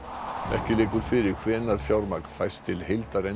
ekki liggur fyrir hvenær fjármagn fæst til